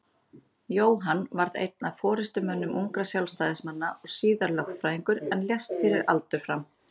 Jóhann varð einn af forystumönnum ungra Sjálfstæðismanna og síðar lögfræðingur en lést fyrir aldur fram.